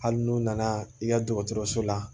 Hali n'u nana i ka dɔgɔtɔrɔso la